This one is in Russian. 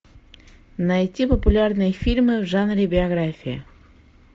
найти популярные фильмы в жанре биография